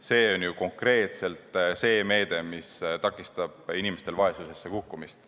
See on ju konkreetselt see meede, mis takistab inimestel vaesusesse kukkumist.